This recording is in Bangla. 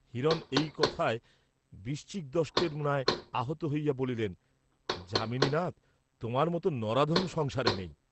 হিরণ এই কথায় বৃশ্চিকদষ্টের ন্যায় আহত হইয়া বলিলেন যামিনীনাথ তোমার মত নরাধম সংসারে নেই!